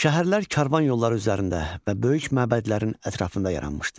Şəhərlər karvan yolları üzərində və böyük məbədlərin ətrafında yaranmışdı.